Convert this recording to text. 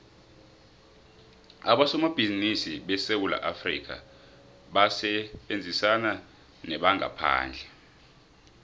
abosomabhizimisi besewula afrikha basebenzisana nebamgaphandle